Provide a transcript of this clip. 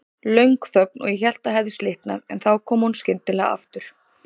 Löng þögn og ég hélt það hefði slitnað, en þá kom hún skyndilega aftur.